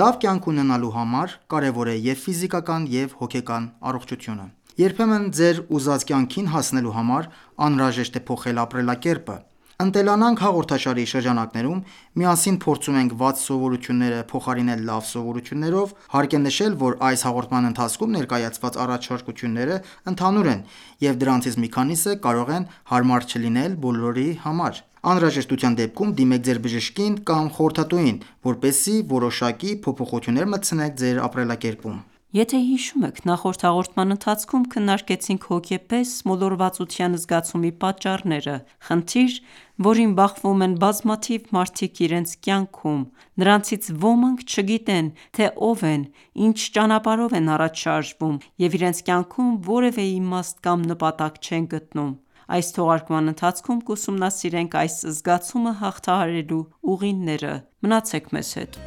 Լավ կյանք ունենալու համար կարևոր է և՛ ֆիզիկական, և՛ հոգեկան առողջությունը։ Երբեմն ձեր ուզած կյանքին հասնելու համար անհրաժեշտ է փոխել ապրելակերպը։ «Ընտելանանք» հաղորդաշարի շրջանակներում միասին փորձում ենք վատ սովորությունները փոխարինել լավ սովորություններով Հարկ է նշել, որ այս հաղորդման ընթացքում ներկայացված առաջարկությունները ընդհանուր են, և դրանցից մի քանիսը կարող են հարմար չլինել բոլորի համար: Անհրաժեշտության դեպքում դիմեք ձեր բժշկին կամ խորհրդատուին, որպեսզի որոշակի փոփոխություններ մտցնեք ձեր ապրելակերպում: Ողջույն, սիրելի բարեկամներ, եթե հիշում եք նախորդ հաղորդման ընթացքում քննարկեցինք հոգեպես մոլորվածության զգացումի պատճառները, խնդիր, որին բախվում են բազմաթիվ մարդիկ իրենց կյանքում։ Նրանցից ոմանք չգիտեն, թե ով են, ինչ ճանապարհով են առաջ շարժվում, և իրենց կյանքում որևէ իմաստ կամ նպատակ չեն գտնում: Այս թողարկման ընթացքում կուսումնասիրենք այս զգացումը հաղթահարելու ուղիները։ Մնացեք մեզ հետ։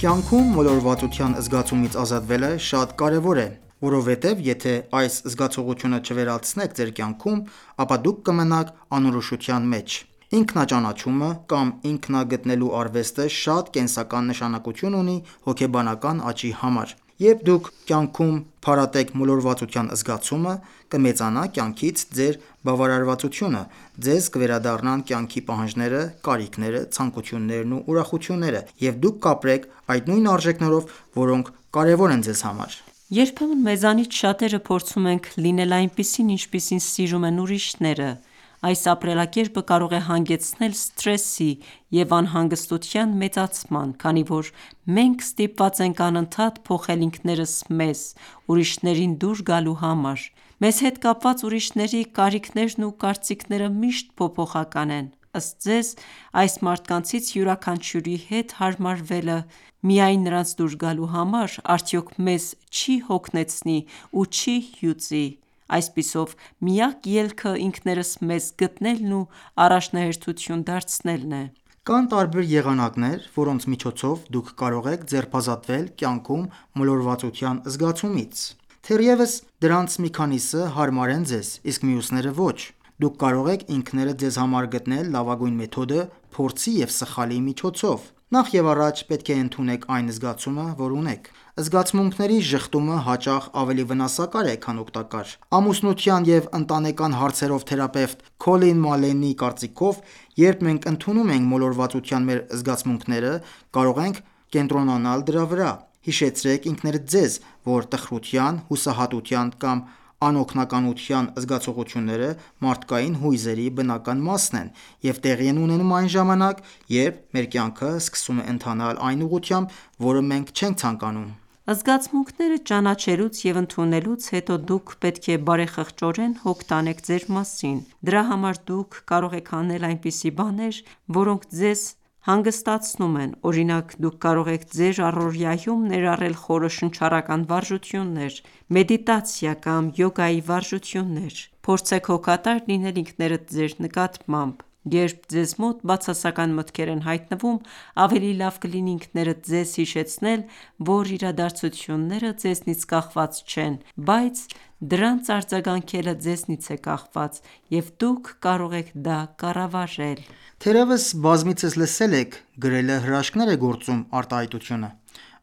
Կյանքում մոլորվածության զգացումից ազատվելը շատ կարևոր է։ Որովհետև եթե այս զգացողությունը չվերացնեք ձեր կյանքում, ապա դուք կմնաք անորոշության մեջ: Ինքնաճանաչումը կամ ինքնագտնելու արվեստը շատ կենսական նշանակություն ունի հոգեբանական աճի համար: Երբ դուք կյանքում փարատեք մոլորվածության զգացումը, կմեծանա կյանքից ձեր բավարարվածությունը, ձեզ կվերադառնան կյանքի պահանջները, կարիքները, ցանկություններն ու ուրախությունները, և դուք կապրեք այդ նույն արժեքներով, որոնք կարևոր են ձեզ համար: Երբեմն մեզանից շատերը փորձում ենք լինել այնպիսին, ինչպիսին սիրում են ուրիշները: Այս ապրելակերպը կարող է հանգեցնել սթրեսի և անհանգստության մեծացման, քանի որ մենք ստիպված ենք անընդհատ փոխել ինքներս մեզ՝ ուրիշներին դուր գալու համար: Մեզ հետ կապված ուրիշների կարիքներն ու կարծիքները միշտ փոփոխական են: Ըստ ձեզ, այս մարդկանցից յուրաքանչյուրի հետ հարմարվելը միայն նրանց դուր գալու համար, արդյո՞ք մեզ չի հոգնեցնի ու չի հյուծի։ Այսպիսով, միակ ելքը ինքներս մեզ գտնելն ու առաջնահերթություն դարձնելն է: Կան տարբեր եղանակներ, որոնց միջոցով դուք կարող եք ձերբազատվել կյանքում մոլորվածության զգացումից: Թերևս դրանցից մի քանիսը հարմար են ձեզ, իսկ մյուսները՝ ոչ: Դուք կարող եք ինքներդ ձեզ համար գտնել լավագույն մեթոդը՝ փորձի և սխալի միջոցով: Նախ և առաջ, պետք է ընդունեք այն զգացումը, որ ունեք։ Զգացմունքների ժխտումը հաճախ ավելի վնասակար է, քան օգտակար: Ամուսնության և ընտանեկան հարցերով թերապևտ Քոլին Մալենի կարծիքով, երբ մենք ընդունում ենք մոլորվածության մեր զգացմունքները, կարող ենք կենտրոնանալ դրա վրա: Հիշեցրեք ինքներդ ձեզ, որ տխրության, հուսահատության կամ անօգնականության զգացողությունները մարդկային հույզերի բնական մասն են և տեղի են ունենում այն ժամանակ, երբ մեր կյանքը սկսում է ընթանալ այն ուղղությամբ, որը մենք չենք ցանկանում։ Զգացմունքները ճանաչելուց և ընդունելուց հետո դուք պետք է բարեխղճորեն հոգ տանեք ձեր մասին: Դրա համար դուք կարող եք անել այնպիսի բաներ, որոնք ձեզ հանգստացնում են: Օրինակ, դուք կարող եք ձեր առօրյայում ներառել խորը շնչառական վարժություններ, մեդիտացիա կամ յոգայի վարժություններ: Փորձեք հոգատար լինել ինքներդ ձեր նկատմամբ։ Երբ ձեզ մոտ բացասական մտքեր են հայտնվում, ավելի լավ կլինի ինքներդ ձեզ հիշեցնել, որ իրադարձությունները ձեզնից կախված չեն, բայց դրանց արձագանքելը ձեզնից է կախված, և դուք կարող եք դա կառավարել: Թերևս բազմիցս լսել եք «գրելը հրաշքներ է գործում» արտահայտությունը,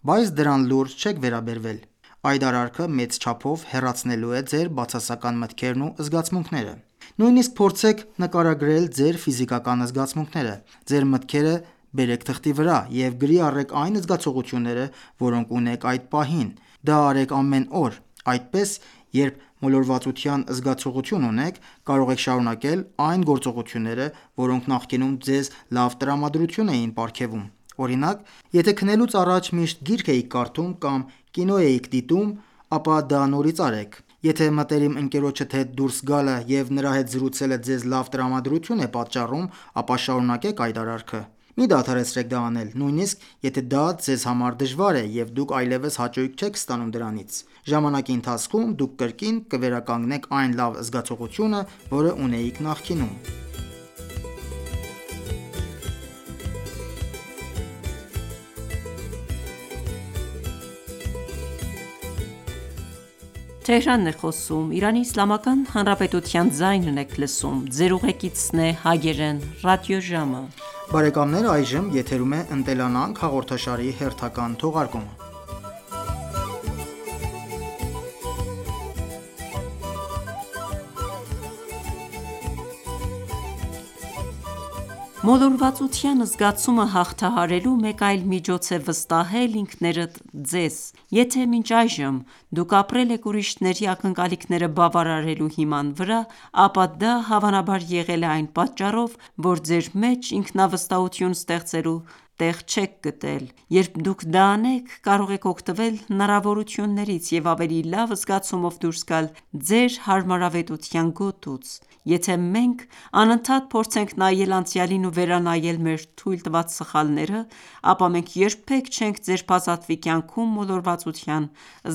բայց դրան լուրջ չեք վերաբերվել։ Այդ արարքը մեծ չափով հեռացնելու է ձեր բացասական մտքերն ու զգացմունքները։ Նույնիսկ փորձեք նկարագրել ձեր ֆիզիկական զգացմունքները: Ձեր մտքերը բերեք թղթի վրա և գրի առեք այն զգացողությունները, որոնք ունեք այդ պահին։ Դա արեք ամեն օր։ Այդպես, երբ մոլորվածության զգացողություն ունեք, կարող եք շարունակել այն գործողությունները, որոնք նախկինում ձեզ լավ տրամադրություն էին պարգևում: Օրինակ, եթե քնելուց առաջ միշտ գիրք էիք կարդում կամ կինո էիք դիտում, ապա դա նորից արեք։ Եթե մտերիմ ընկերոջդ հետ դուրս գալը և նրա հետ զրուցելը ձեզ լավ տրամադրություն են պատճառում, ապա շարունակեք այդ արարքը։ Մի դադարեցրեք դա անել, նույնիսկ եթե դա ձեզ համար դժվար է և դուք այլևս հաճույք չեք ստանում դրանից: Ժամանակի ընթացքում դուք կրկին կվերականգնեք այն լավ զգացողությունը, որը ունեիք նախկինում։ Մոլորվածության զգացումը հաղթահարելու մեկ այլ միջոց է վստահել ինքներդ ձեզ: Եթե մինչ այժմ դուք ապրել եք ուրիշների ակնկալիքները բավարարելու հիման վրա, ապա դա հավանաբար եղել է այն պատճառով, որ ձեր մեջ ինքնավստահություն ստեղծելու տեղ չեք գտել: Երբ դուք դա անեք, կարող եք օգտվել հնարավորություններից և ավելի լավ զգացումով դուրս գալ ձեր հարմարավետության գոտուց: Եթե մենք անընդհատ փորձենք նայել անցյալին ու վերանայել մեր թույլ տված սխալները, ապա մենք երբեք չենք ձերբազատվի կյանքում մոլորվածության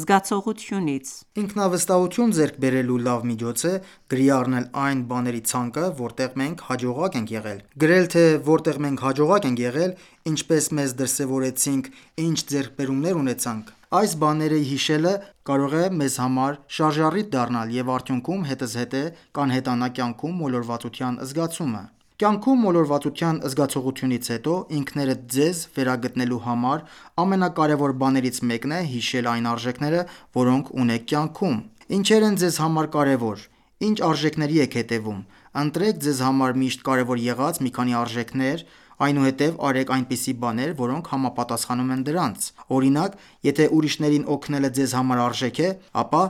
զգացողությունից: Ինքնավստահություն ձեռք բերելու լավ միջոց է գրի առնել այն բաների ցանկը, որտեղ մենք հաջողակ ենք եղել։ Գրել, թե որտեղ մենք հաջողակ ենք եղել, ինչպե՞ս մեզ դրսևորեցինք, ի՞նչ ձեռքբերումներ ունեցանք։ Այս բաները հիշելը կարող է մեզ համար շարժառիթ դառնալ և արդյունքում հետզհետե կանհետանա կյանքում մոլորվածության զգացումը։ Կյանքում մոլորվածության զգացողությունից հետո ինքներդ ձեզ վերագտնելու համար ամենակարևոր բաներից մեկն է հիշել այն արժեքները, որոնք ունեք կյանքում: Ի՞նչեր են ձեզ համար կարևոր: Ի՞նչ արժեքների եք հետևում: Ընտրեք ձեզ համար միշտ կարևոր եղած մի քանի արժեքներ, այնուհետև արեք այնպիսի բաններ, որոնք համապատասխանում են դրանց: Օրինակ, եթե ուրիշներին օգնելը ձեզ համար արժեք է, ապա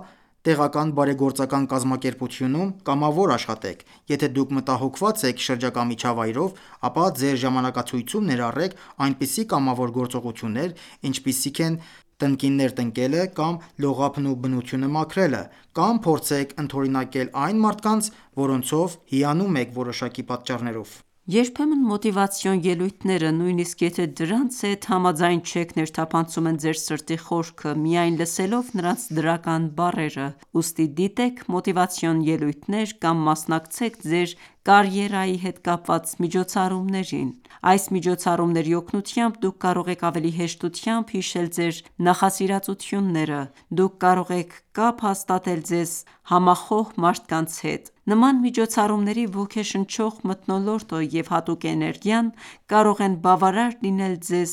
տեղական բարեգործական կազմակերպությունում կամավոր աշխատեք: Եթե դուք մտահոգված եք շրջակա միջավայրով, ապա ձեր ժամանակացույցում ներառեք այնպիսի կամավոր գործողություններ, ինչպիսիք են տնկիներ տնկելը կամ լողափն ու բնությունը մաքրելը: Կամ փորձեք ընդօրինակել այն մարդկանց, որոնցով հիանում եք որոշակի պատճառներով: Երբեմն մոտիվացիոն ելույթները, նույնիսկ եթե դրանց հետ համաձայն չեք, ներթափանցում են ձեր սրտի խորքը՝ միայն լսելով նրանց դրական բառերը։ Ուստի, դիտեք մոտիվացիոն ելույթներ կամ մասնակցեք ձեր կարիերայի հետ կապված միջոցառումներին: Այս միջոցառումների օգնությամբ դուք կարող եք ավելի հեշտությամբ հիշել ձեր նախասիրածությունները։ Դուք կարող եք կապ հաստատել ձեզ համախոհ մարդկանց հետ։ Նման միջոցառումների ոգեշնչող մթնոլորտը և հատուկ էներգիան, կարող են բավարար լինել ձեզ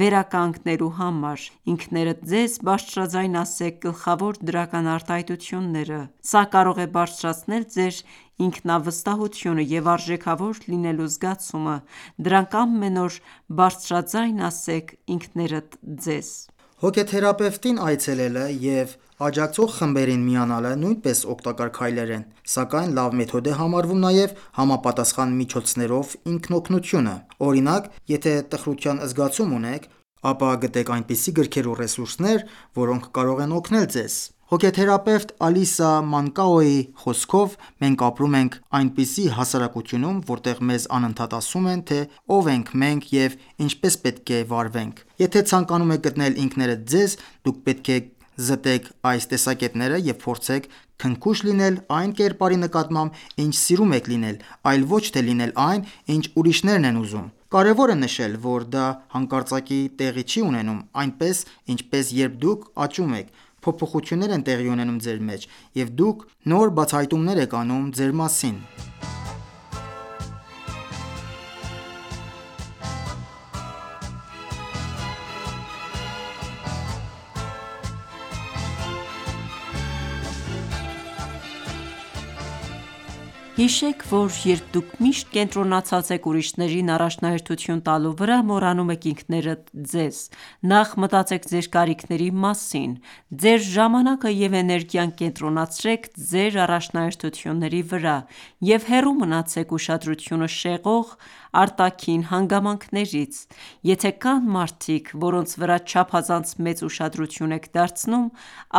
վերականգնելու համար: Ինքներդ ձեզ բարձրաձայն ասեք գլխավոր դրական արտահայտությունները: Սա կարող է բարձրացնել ձեր ինքնավստահությունը և արժեքավոր լինելու զգացումը: Դրանք ամեն օր բարձրաձայն ասեք ինքներդ ձեզ: Հոգեթերապևտին այցելելը և աջակցող խմբերին միանալը նույնպես օգտակար քայլեր են, սակայն լավ մեթոդ է համարվում նաև համապատասխան միջոցներով ինքնօգնությունը: Օրինակ, եթե տխրության զգացում ունեք, ապա գտեք այնպիսի գրքեր ու ռեսուրսներ, որոնք կարող են օգնել ձեզ: Հոգեթերապևտ Ալիսա Մանկաոյի խոսքով՝ մենք ապրում ենք այնպիսի հասարակությունում, որտեղ մեզ անընդհատ ասում են, թե ով ենք մենք և ինչպես պետք է վարվենք: Եթե ցանկանում եք գտնել ինքներդ ձեզ, դուք պետք է զտեք այս տեսակետները և փորձեք քնքուշ լինել այն կերպարի նկատմամբ, ինչ սիրում եք լինել, այլ ոչ թե լինել այն, ինչ ուրիշներն են ուզում: Կարևոր է նշել, որ դա հանկարծակի տեղի չի ունենում, այնպես, ինչպես, Երբ դուք աճում եք, փոփոխություններ են տեղի ունենում ձեր մեջ, և դուք նոր բացահայտումներ եք անում ձեր մասին: Հիշեք, որ երբ դուք միշտ կենտրոնացած եք ուրիշներին առաջնահերթություն տալու վրա, մոռանում եք ինքներդ ձեզ: Նախ մտածեք ձեր կարիքների մասին: Ձեր ժամանակը և էներգիան կենտրոնացրեք ձեր առաջնահերթությունների վրա և հեռու մնացեք ուշադրությունը շեղող արտաքին հանգամանքներից: Եթե կան մարդիկ, որոնց վրա չափազանց մեծ ուշադրություն եք դարձնում,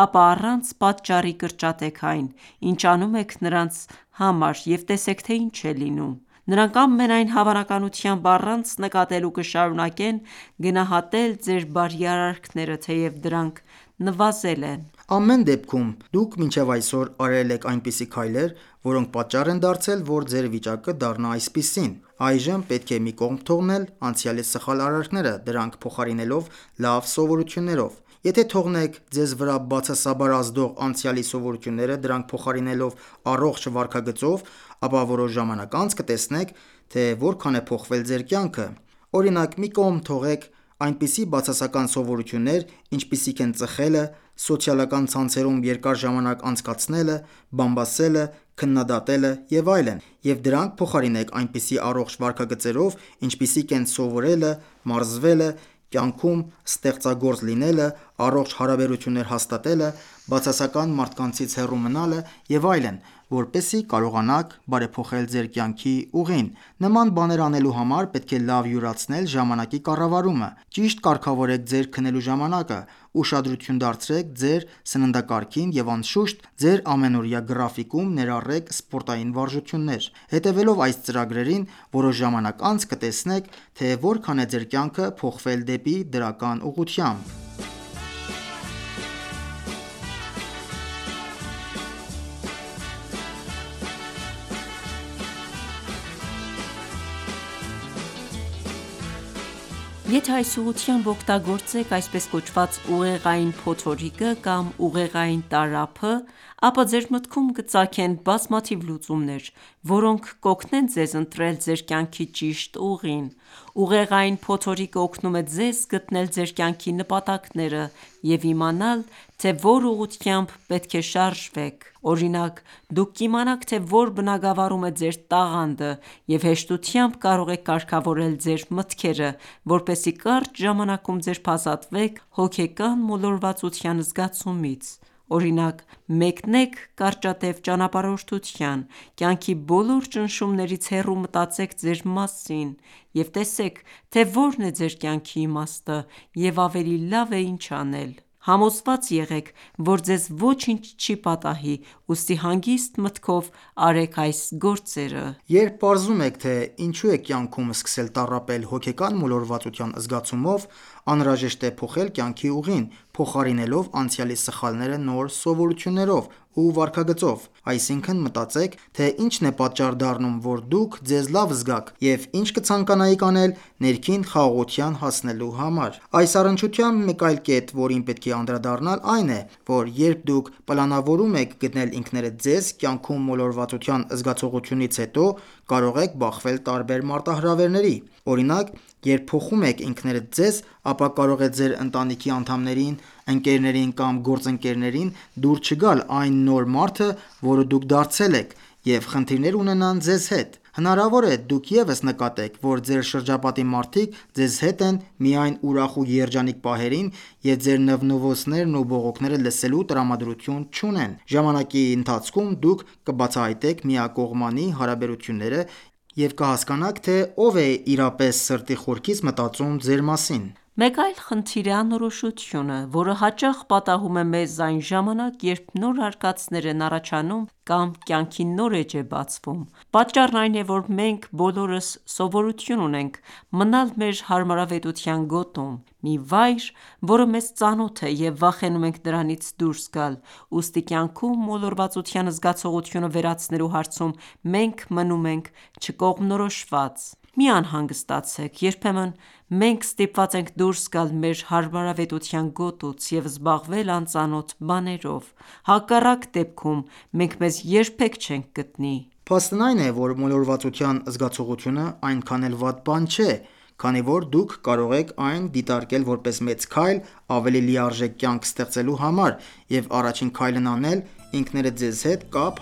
ապա առանց պատճառի, կրճատեք այն, ինչ անում եք նրանց համար և տեսեք, թե ինչ է լինում: Նրանք, ամենայն հավանականությամբ, առանց նկատելու կշարունակեն գնահատել ձեր բարի արարքները, թեև դրանք նվազել են: Ամեն դեպքում, դուք մինչև այսօր արել եք այնպիսի քայլեր, որոնք պատճառ են դարձել, որ ձեր վիճակը դառնա այսպիսին։ Այժմ պետք է մի կողմ թողնել անցյալի սխալ արարքները՝ դրանք փոխարինելով լավ սովորություններով։ Եթե թողնեք ձեզ վրա բացասաբար ազդող անցյալի սովորությունները՝ դրանք փոխարինելով առողջ վարքագծով, ապա որոշ ժամանակ անց կտեսնեք, թե որքան է փոխվել ձեր կյանքը։ Օրինակ՝ մի կողմ թողեք այնպիսի բացասական սովորություններ, ինչպիսիք են ծխելը, սոցիալական ցանցերում երկար ժամանակ անցկացնելը, բամբասելը, քննադատելը և այլն, և դրանք փոխարինեք այնպիսի առողջ վարքագծերով, ինչպիսիք են՝ սովորելը, մարզվելը, կյանքում ստեղծագործ լինելը, առողջ հարաբերություններ հաստատելը, բացասական մարդկանցից հեռու մնալը և այլն, որպեսզի կարողանաք բարեփոխել ձեր կյանքի ուղին: Նման բաներ անելու համար պետք է լավ յուրացնել ժամանակի կառավարումը։ Ճիշտ կարգավորեք ձեր քնելու ժամանակը, ուշադրություն դարձրեք ձեր սննդակարգին և անշուշտ, ձեր ամենօրյա գրաֆիկում ներառեք սպորտային վարժությունները: Հետևելով այս ծրագրերին՝ որոշ ժամանակ անց կտեսնեք, թե որքան է ձեր կյանքը փոխվել դեպի դրական ուղղությամբ։ Եթե այս ուղղությամբ օգտագործեք, այսպես կոչված, «ուղեղային փոթորիկը» կամ «ուղեղային տարափը», ապա ձեր մտքում կծագեն բազմաթիվ լուծումներ, որոնք կօգնեն ձեզ ընտրել ձեր կյանքի ճիշտ ուղին։ «Ուղեղային փոթորիկը» օգնում է ձեզ գտնել ձեր կյանքի նպատակները, և իմանալ, թե որ ուղղությամբ պետք է շարժվեք: Օրինակ, դուք կիմանաք, թե որ բնագավառում է ձեր տաղանդը և հեշտությամբ կարող եք կարգավորել ձեր մտքերը, որպեսզի կարճ ժամանակում ձերբազատվեք հոգեկան մոլորվածության զգացումից։ Օրինակ, մեկնեք կարճատև ճանապարհորդության, կյանքի բոլոր ճնշումներից հեռու մտածեք ձեր մասին և տեսեք, թե որն է ձեր կյանքի իմաստը և ավելի լավ է ինչ անել: Համոզված եղեք, որ ձեզ ոչինչ չի պատահի, ուստի հանգիստ մտքով արեք այս գործերը: Երբ պարզում եք, թե ինչու եք կյանքում սկսել տառապել հոգեկան մոլորվածության զգացումով, անհրաժեշտ է փոխել կյանքի ուղին՝ փոխարինելով անցյալի սխալները նոր սովորություններով ու վարքագծով։ Այսինքն՝ մտածեք, թե ինչն է պատճառ դառնում, որ դուք ձեզ լավ զգաք և ինչ կցանկանայիք անել՝ ներքին խաղաղության հասնելու համար։ Այս առնչությամբ մեկ այլ կետ, որին պետք է անդրադառնալ, այն է, որ երբ դուք պլանավորում եք գտնել ինքներդ ձեզ՝ կյանքում մոլորվածության զգացողությունից հետո, կարող եք բախվել տարբեր մարտահրավերների: Օրինակ, երբ փոխում եք ինքներդ ձեզ, ապա կարող է ձեր ընտանիքի անդամներին, ընկերներին կամ գործընկերներին դուր չգալ այն նոր մարդը, որը դուք դարձել եք, և խնդիրներ ունենան ձեզ հետ: Հնարավոր է դուք ևս նկատեք, որ ձեր շրջապատի մարդիկ ձեզ հետ են միայն ուրախ ու երջանիկ պահերին և ձեր նվնվոցներն ու բողոքները լսելու տրամադրություն չունեն։ Ժամանակի ընթացքում դուք կբացահայտեք միակողմանի հարաբերությունները և կհասկանաք, թե ով է իսկապես սրտի խորքից մտածում ձեր մասին: Մեկ այլ խնդիր է անորոշությունը, որը հաճախ պատահում է մեզ այն ժամանակ, երբ նոր արկածներ են առաջանում կամ կյանքի նոր էջ է բացվում։ Պատճառն այն է, որ մենք բոլորս սովորություն ունենք մնալ մեր հարմարավետության գոտում։ Մի վայր, որը մեզ ծանոթ է և վախենում ենք դրանից դուրս գալ: Ուստի կյանքում մոլորվածության զգացողությունը վերացնելու հարցում մենք մնում ենք չկողմնորոշված։ Մի անհանգստացեք։ Երբեմն մենք ստիպված ենք դուրս գալ մեր հարմարավետության գոտուց և զբաղվել անծանոթ բաներով: Հակառակ դեպքում մենք մեզ երբեք չենք գտնի։ Փաստն այն է, որ մոլորվածության զգացողությունը այնքան էլ վատ բան չէ, քանի որ դուք կարող եք այն դիտարկել որպես մեծ քայլ՝ ավելի լիարժեք կյանք ստեղծելու համար, և առաջին քայլն անել ինքներդ ձեզ հետ կապ